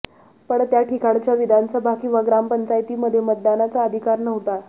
पण त्या ठिकाणच्या विधानसभा किंवा ग्रामपंचायतीमध्ये मतदानाचा अधिकार नव्हता